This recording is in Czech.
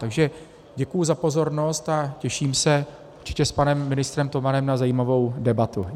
Takže děkuji za pozornost a těším se určitě s panem ministrem Tomanem na zajímavou debatu.